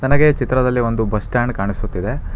ನನಗೆ ಈ ಚಿತ್ರದಲ್ಲಿ ಒಂದು ಬಸ್ ಸ್ಟಾಂಡ್ ಕಾಣಿಸುತ್ತಿದೆ.